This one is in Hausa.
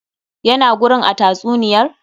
Ya na gurin a tatsuniyar?